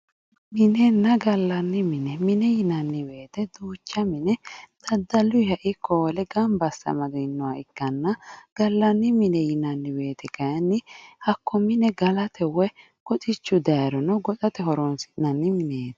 minenna gallanni mine mine yinanni wote duucha mine daddalunniha ikko wole gamba asse amadinoha ikkanna gallanni mine yinanni wote kayiinni hakko mine galate woyi goxichu dayiiro goxate horonsi'nanni mineeti.